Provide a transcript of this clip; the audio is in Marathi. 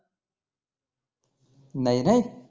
नाही रे